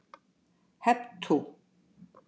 Hep tú!